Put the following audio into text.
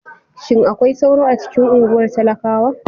Shin akwai sauro a cikin unguwar talakawa?